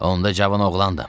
Onda cavan oğlandım.